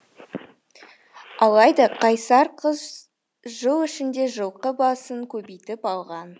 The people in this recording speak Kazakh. алайда қайсар қыз жыл ішінде жылқы басын көбейтіп алған